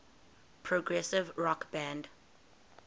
progressive rock band